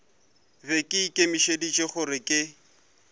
be ke ikemišeditše gore ke